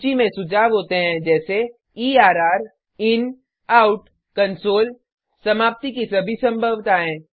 सूची में सुझाव होते हैं जैसे एर्र inoutकंसोल समाप्ति की सभी संभवताएँ